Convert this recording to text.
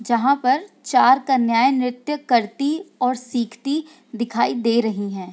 जहाँ पर चार कन्याएं नृत्य करती और सिखाती दिखाई दे रहीं हैं।